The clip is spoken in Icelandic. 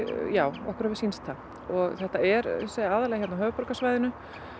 já okkur hefur sýnst það þetta er ég segi aðallega á höfuðborgarsvæðinu